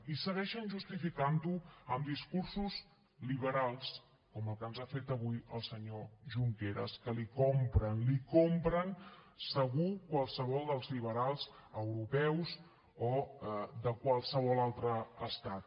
i segueixen justificant ho amb discursos liberals com el que ens ha fet avui el senyor junqueras que l’hi compren l’hi compren segur qualsevol dels liberals europeus o de qualsevol altre estat